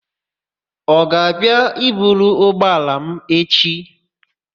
Ọ ga-abịa i buru ụgbọala m echi?